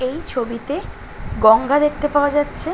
এই ছবিতে গঙ্গা দেখতে পাওয়া যাচ্ছে।